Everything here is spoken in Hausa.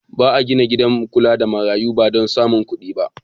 Ba a gina gidan kula da marayu ba domin samun kuɗi.